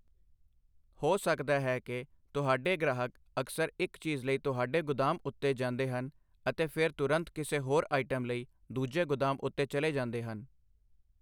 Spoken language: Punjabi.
ਹੋ ਸਕਦਾ ਹੈ ਕਿ ਤੁਹਾਡੇ ਗ੍ਰਾਹਕ ਅਕਸਰ ਇੱਕ ਚੀਜ਼ ਲਈ ਤੁਹਾਡੇ ਗੁਦਾਮ ਉੱਤੇ ਜਾਂਦੇ ਹਨ ਅਤੇ ਫਿਰ ਤੁਰੰਤ ਕਿਸੇ ਹੋਰ ਆਈਟਮ ਲਈ ਦੂਜੇ ਗੁਦਾਮ ਉੱਤੇ ਚਲੇ ਜਾਂਦੇ ਹਨ।